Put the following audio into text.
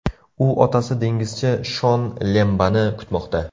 U otasi dengizchi Shon Lembani kutmoqda.